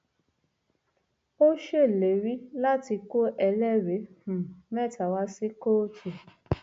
ó ṣèlérí láti kó ẹlẹrìí um mẹta wá sí kóòtù